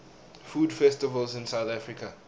food festivals in south africa